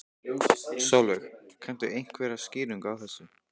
Sólveig: Kanntu einhverja skýringu á þessu?